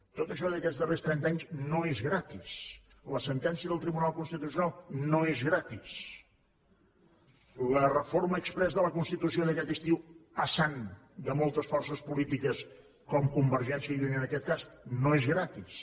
tot això d’aquests darrers trenta anys no és gratis la sentència del tribunal constitucional no és gratis la reforma exprés de la constitució d’aquest estiu passant de moltes forces polítiques com convergència i unió en aquest cas no és gratis